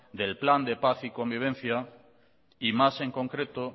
del plan de paz y convivencia y más en concreto